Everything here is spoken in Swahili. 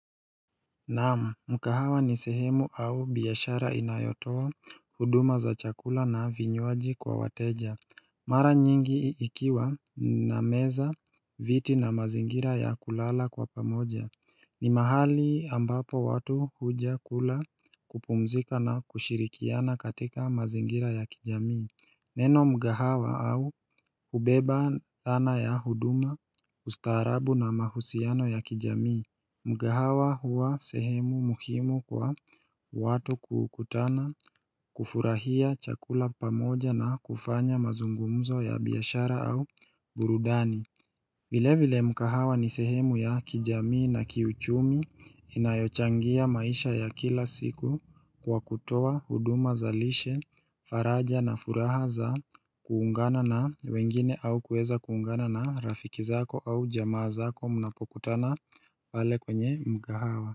Naam mkahawa ni sehemu au biashara inayotoa huduma za chakula na vinywaji kwa wateja Mara nyingi ikiwa na meza viti na mazingira ya kulala kwa pamoja ni mahali ambapo watu huja kula kupumzika na kushirikiana katika mazingira ya kijamii Neno mgahawa au hubeba dhana ya huduma ustaharabu na mahusiano ya kijamii Mgahawa hua sehemu muhimu kwa watu kukutana kufurahia chakula pamoja na kufanya mazungumzo ya biashara au gurudani vile vile mkahawa ni sehemu ya kijamii na kiuchumi inayochangia maisha ya kila siku kwa kutowa huduma za lishe, faraja na furaha za kuungana na wengine au kueza kuungana na rafiki zako au jamaa zako munapokutana pale kwenye mkahawa.